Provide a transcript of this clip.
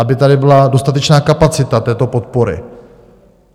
Aby tady byla dostatečná kapacita této podpory.